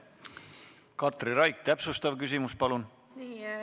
Katri Raik, täpsustav küsimus, palun!